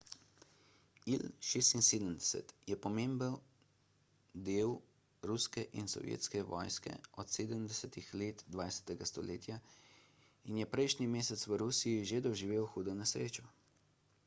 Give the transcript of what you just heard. il-76 je pomemben del ruske in sovjetske vojske od 70 let 20 stoletja in je prejšnji mesec v rusiji že doživel hudo nesrečo